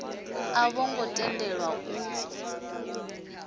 a vho ngo tendelwa u